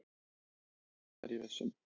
"""Jú, það er ég viss um."""